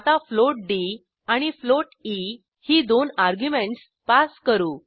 आता float D आणि float E ही दोन अर्ग्युमेंटस पास करू